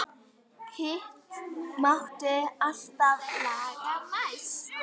Hitt mátti alltaf laga næst.